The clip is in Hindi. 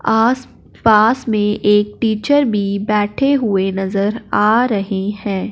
आस पास में एक टीचर भी बैठे हुए नजर आ रही है।